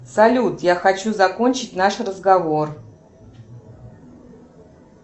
салют я хочу закончить наш разговор